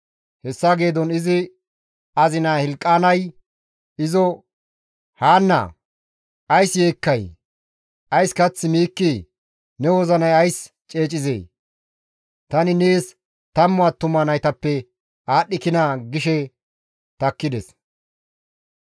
Hessa geedon izi azina Hilqaanay izo, «Haannee! Ays yeekkay? Ays kath miikkii? Ne wozinay ays ceecizee? Tani nees tammu attuma naytappe aadhdhikinaa?» gishe takkides.